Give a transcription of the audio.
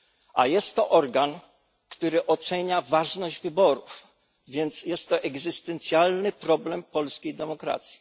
A jest to organ, który ocenia ważność wyborów, więc jest to egzystencjalny problem polskiej demokracji.